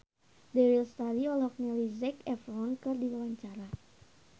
Dewi Lestari olohok ningali Zac Efron keur diwawancara